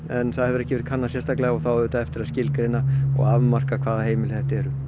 en það hefur ekki verið kannað sérstaklega og það á eftir að skilgreina og afmarka hvaða heimili þetta eru